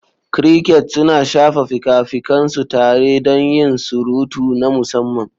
Crickets suna shafa fikafikan su tare don yin surutu na musamman.